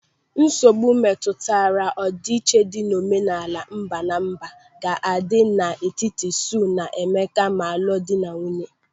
Nsogbu metụtara ọdịiche dị n'omenala mba na mba ga-adi na-etiti Sue na Emeka ma lụọ di na nwunye.